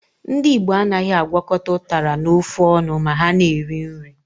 Ndị Igbo anaghị agwọkọta ụtara na ofe ọnụ ma ha na-eri nri.